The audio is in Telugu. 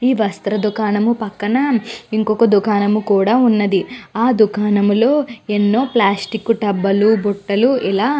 ఈ వస్ర దుకాణం పక్కన ఇంకొక దుకాణం కూడా ఉన్నది. ఆ దుకాణంలో ఎన్నో ప్లాస్టిక్ డబ్లు లు బుట్టల్లు ఇలా --